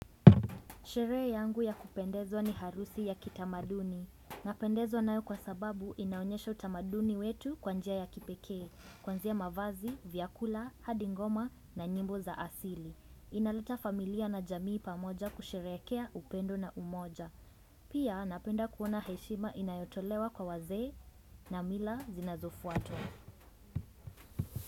Sherehe yangu ya kupendezwa ni harusi ya kitamaduni. Napendezwa nayo kwa sababu inaonyesha utamaduni wetu, kwa njia ya kipekee. Kwanzia mavazi, vyakula, hadi ngoma na nyimbo za asili. Inaleta familia na jamii pamoja kusherekea upendo na umoja. Pia, napenda kuona heshima inayotolewa kwa wazee na mila zinazofuatwa.